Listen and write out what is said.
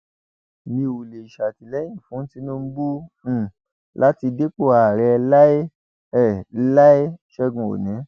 mi ò lè ṣàtìlẹyìn fún tinubu um láti dépò ààrẹ láé um láé ṣègùn òní